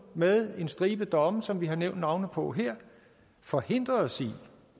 med en stribe domme som vi har nævnt navnene på her forhindret os i